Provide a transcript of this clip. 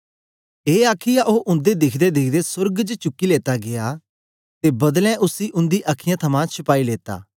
ए आखीयै ओ उंदे दिखदेदिखदे सोर्ग च चुकी लेता गीया ते बदलें उसी उंदी अखीयाँ थमां शपाई लेता